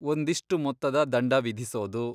ಒಂದಿಷ್ಟು ಮೊತ್ತದ ದಂಡ ವಿಧಿಸೋದು.